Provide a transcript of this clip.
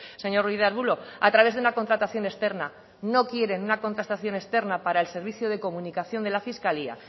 señor ruiz de arbulo a través de una contratación externa no quieren una contratación externa para el servicio de comunicación de la fiscalía